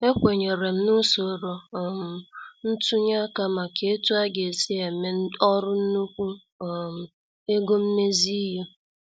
Ekwenyerem na usoro um ntunye aka maka etu aga- esi eme ọrụ nnukwu um ego mmezi ihe.